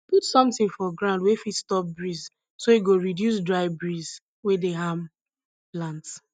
put sometin for ground wey fit stop breeze so e go reduce dry breeze wey dey harm plants